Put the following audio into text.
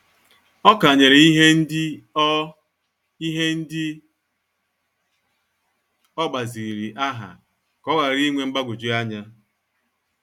Ọ kanyere ihe ndị o ihe ndị o gbaziri aha ka ọ ghara inwe mgbagwoju anya.